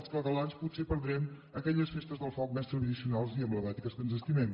els catalans potser perdrem aquelles festes del foc més tradicionals i emblemàtiques que ens estimem